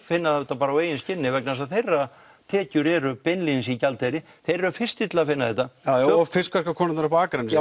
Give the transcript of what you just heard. finna það auðvitað bara á eigin skinni vegna þess að þeirra tekjur eru beinlínis í erlendum gjaldeyri þeir eru fyrstir til að finna þetta og fiskverkakonurnar uppi á Akranesi